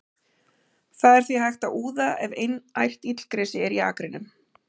Það er því hægt að úða ef einært illgresi er í akrinum.